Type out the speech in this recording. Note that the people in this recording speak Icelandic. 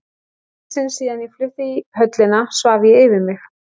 Í fyrsta sinn síðan ég flutti í höllina svaf ég yfir mig.